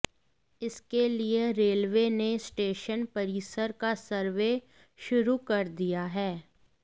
इसके लिए रेलवे ने स्टेशन परिसर का सर्वे शुरू कर दिया है